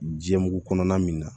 Jɛmuru kɔnɔna min na